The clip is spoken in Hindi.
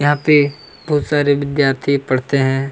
यहाँ पे बहुत सारे विद्यार्थी पढ़ते है।